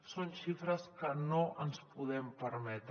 són xifres que no ens podem permetre